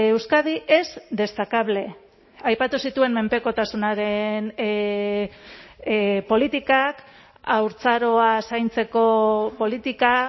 euskadi es destacable aipatu zituen menpekotasunaren politikak haurtzaroa zaintzeko politika